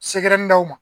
Sekɛri dɔw ma